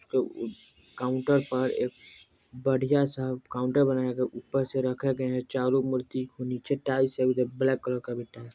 जो उ काउन्टर पर एक बढ़िया-सा काउन्टर बनाया गया है ऊपर से रखा गया है चारों मूर्ति को नीचे टाइल्स है ब्लैक कलर का टाइल्स --